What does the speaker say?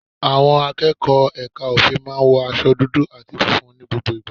Àwọn akẹ́kọ̀ọ́ Ẹka ofin maá n wọ aṣọ dudu ati funfun ní gbogbo ìgbà.